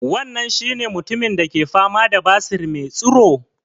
Wannan shi ne mutumin da ke fama da basir me tsuro?